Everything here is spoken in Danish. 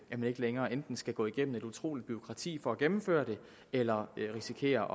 man ikke længere enten skal gå igennem et utroligt bureaukrati for at gennemføre det eller risikere